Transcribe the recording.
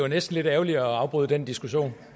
næsten lidt ærgerligt at afbryde den diskussion